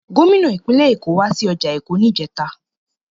Gómìnà ìpínlẹ̀ Èkó wá sí ọjà Èkó níjẹta.